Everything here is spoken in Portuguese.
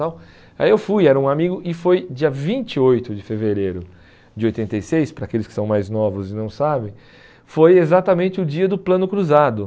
tal Aí eu fui, era um amigo e foi dia vinte e oito de fevereiro de oitenta e seis, para aqueles que são mais novos e não sabem, foi exatamente o dia do plano cruzado.